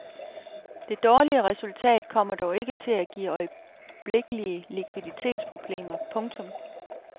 Det dårlige resultat kommer dog ikke til at give øjeblikkelige likviditetsproblemer. punktum